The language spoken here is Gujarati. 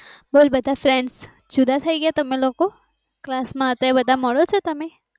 સાચી વાત છે બોલ બધા friends જુદા થઇ ગયા તમે class માં હતા એ બધા મળો છો તમે